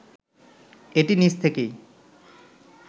এটি নিজ থেকেই